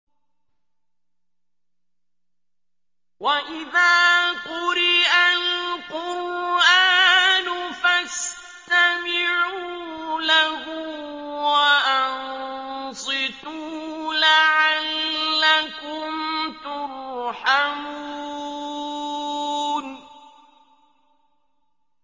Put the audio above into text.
وَإِذَا قُرِئَ الْقُرْآنُ فَاسْتَمِعُوا لَهُ وَأَنصِتُوا لَعَلَّكُمْ تُرْحَمُونَ